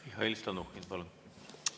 Mihhail Stalnuhhin, palun!